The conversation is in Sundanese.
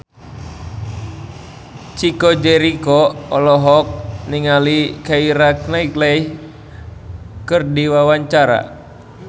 Chico Jericho olohok ningali Keira Knightley keur diwawancara